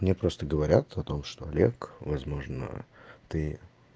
мне просто говорят о том что олег возможно ты